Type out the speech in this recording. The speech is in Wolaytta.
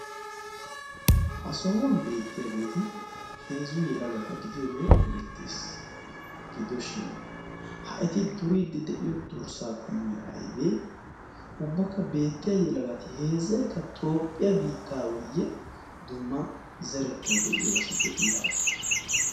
ha sohuwan beettiyaageeti heezu yelagata gidiyoogee erettees gidoshin ha eti duriiddi de'iyo durssaa qomoy aybee ubbakka beettiya yelagati heezzaikka toophphiyaa biittaawiyye dumma zerettai de'iyo asi de'ii?